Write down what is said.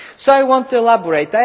So I want to elaborate.